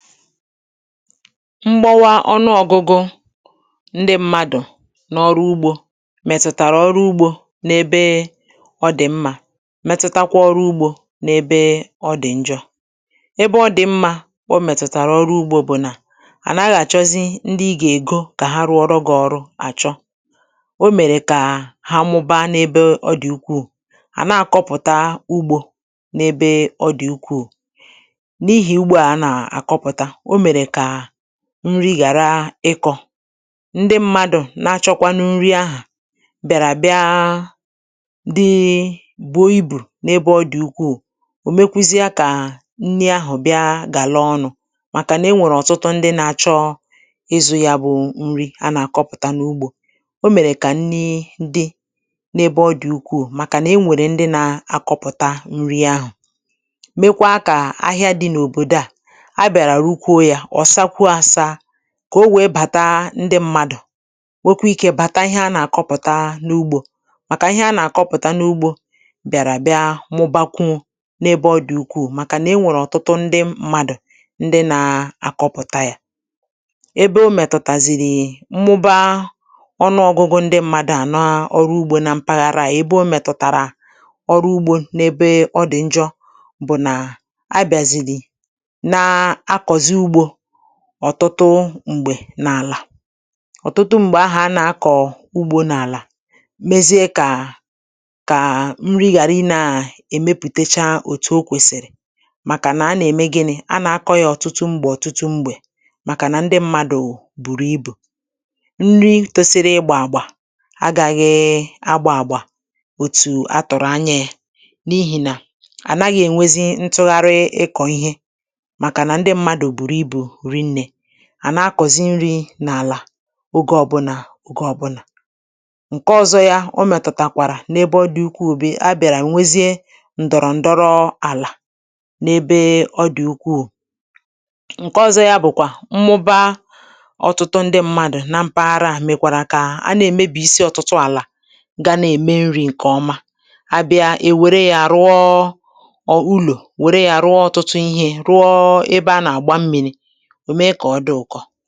mgbọwa ọnụ ọgụ̄gụ̄ ndị mmadụ̀ n’ọrụ ugboō mètụtàrà ọrụ ugbō n’ebee ọ dị̀ mmā metụtakwa ọrụ ugbō n'ebee ọ dị̀ njọ ebe ọ dị̀ mmā o mètụ̀tàrà ọrụ ugbō bụ̀ nà à naghị̄ àchọzị ndị ị gà- ègo kà ha rụọrọ gị̄ ọrụ àchọ o mèrè kà ha mụbaa n’ebe ọ dị̀ ukwuù na-àkọpụ̀ta ugbō n’ebe ọ dị̀ ukwuù n’ihì ugbo à a nà-àkọpụ̀ta o mèrè kàà nri ghàra ịkọ̄ ndị mmadụ̀ na-achọkwanụ nri ahụ̀ bịạrà bịaa dị bùo ibù n’ebe ọ dị̀ ukwuù ò mèkwuzịa kàà nni ahụ̀ bịa gàlaa ọnụ̄ mạkạ nà e nwèrè ọ̀tụtụ ndị na-achọ ịzụ̄ ya bụ̄ nri a nà-àkọpụ̀ta n’ugbō o mèrè kà nni di̩ n’ebe ọ dị̀ ukwuù màkà nà e nwèrè ndị na-akọpụ̀ṭa nri ahụ̀ mekwaa kà ahịa dị̄ n’òbòdo à a bịạrà rụkwuo yā ọ̀ sàkwuo āsāā kà o wèe bàta ndị mmadụ nwekwaa ikē bàtà ihe a nà-àkụpụ̀ta n’ugbō màkà ihe a nà-àkọpụ̀ta n’ugbō bị̀àrà bịa mụbakwuo n’ebe ọ dị̀ ukwuù màkà nà e nwèrè ọ̀tụtụ ndị madụ̀ ndị na-akọpụta yā ebe o mètụ̀tàzìrì mmụba ọnụ ōgụ̄gụ̄ ndị mmadụ à naa ọrụ ugbō na m mpaghara à ebe o mètụ̀tàrà ọrụ ugbō n‘ebe ọ dị̀ njọ bụ̀ nà a bị̀àzìrì na akọ̀zị ugbō ọtụtụ m̀gbè n’àlà ọ̀tụtụ m̀gbè ahà a nà-akọ̀ ugbō n’àlà mezie kàà kàà nri ghàra ịnaà èmepùtecha òtù o kwèsìrì màkà nà a na-ème gịnị̄ a nà-akọ̄ yā ọtụtụ mgbè ọ̀tụtụ mgbè màkà nà ndị mmadụ̀ bùrù ibù nri tōsīrī ịgbà àgbà agaghịị agbā àgbà òtù a tụ̀rụ̀ anya yā n’ihì nà à naghị̄ ènwezi ntụgharị ịkọ̀ ihe màkà nà ndị mmadụ̀ bùrù ibù rinnē à na-akọ̀zi nrī n’àlà ogē ọbụnà ogē ọbụnà ṅ̀ke ọ̄zọ̄ yā o mètùtàkwàrà n’ebe ọ dị̀ ukwuù bụ a bị̀àrà nwezie ǹdọ̀rọ̀ ǹdọrọ àlà n’ebe ọ dị̀ ukwuù ṅ̀ke ọ̄zọ̄ yā bụ̀kwà mmuba ọtụtụ ndị mmadụ̀ na mpaghara à mèkwàrà kà a na-èmebìyisi ọtụtụ àlà ga na-ème nrī ṅ̀kè ọma a bịa è wère yā rụọ ọ̀ ùlò wère yā rụọ ọtụtụ ihē rụọ ebe a nà-àgba mmīrī ò mee kà ọ dị ụkọ